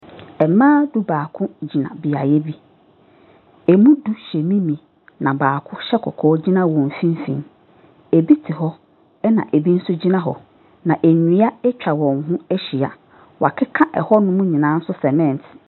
Mmaa du-baako gyina beaeɛ bi. Emu du hyɛ mimi. Na baako hyɛ kɔkɔɔ gyina wɔn mfimfin. Ebi te hɔ na ebi nso gyina hɔ. Na nnua atwa wɔn ho ahyia. Wɔakeka ɛhɔnom nyinaa cement.